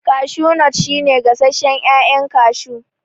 Kashu nut shi ne gasashen ƴaƴan kashu